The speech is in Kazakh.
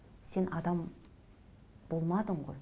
сен адам болмадың ғой